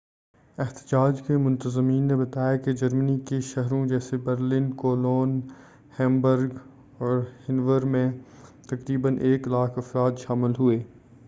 احتجاج کے منتظمین نے بتایا کہ جرمنی کے شہروں جیسے برلن کولون ہیمبرگ اور ہنوور میں تقریبا 100,000 افراد شامل ہوئے